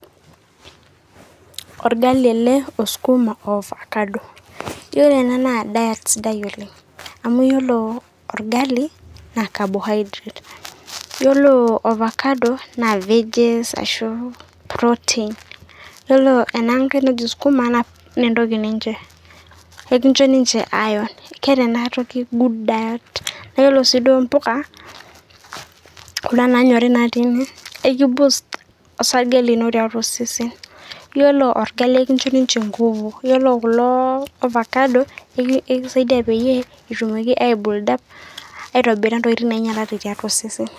Orgali ele osukuma o ofakado. Yiolo ena naa diet sidai oleng'. Amu yiolo orgali, na carbohydrates. Yiolo ofakado na vegaes ashu protein. Ore enankai najo sukuma naa entoki ninche, ekincho ninche iron. Keeta enatoki good diet. Nayiolo si duo mbuka, kuna nanyori natii ene, eki boast osarge lino tiatua osesen. Yiolo orgali ekincho ninye nkufu. Yiolo kulo ofakado, ekisaidia peyiee, etumoki aibulda aitobira ntokiting' nainyalate tiatua osesen.